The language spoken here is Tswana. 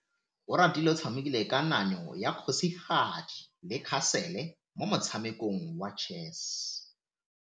Oratile o tshamekile kananyô ya kgosigadi le khasêlê mo motshamekong wa chess.